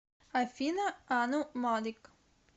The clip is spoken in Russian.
афина ану малик